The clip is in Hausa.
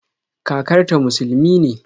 Kakarta musulumi ne